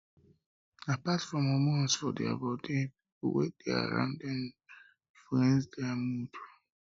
apart from hormones for for their body pipo wey de around dem influence their mood